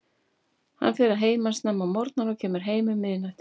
Hann fer að heiman snemma á morgnana og kemur heim um miðnætti.